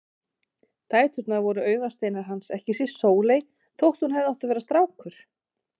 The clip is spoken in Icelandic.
Dæturnar voru augasteinar hans, ekki síst Sóley þótt hún hefði átt að vera strákur.